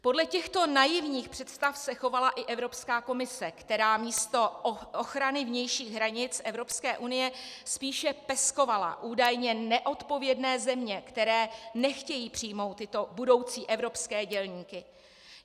Podle těchto naivních představ se chovala i Evropská komise, která místo ochrany vnějších hranic EU spíše peskovala údajně neodpovědné země, které nechtějí přijmou tyto budoucí evropské dělníky.